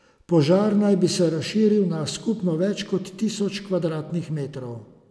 Požar naj bi se razširil na skupno več kot tisoč kvadratnih metrov.